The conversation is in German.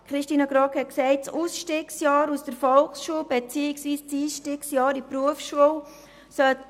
Grossrätin GroggMeyer sprach vom «Ausstiegsjahr aus der Volksschule» respektive dem «Einstiegsjahr in die Berufsschule».